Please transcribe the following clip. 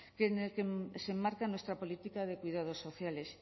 en el que se enmarca nuestra política de cuidados sociales